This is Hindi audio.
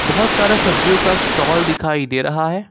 बहोत सारा सब्जियों का स्टाल दिखाई दे रहा है।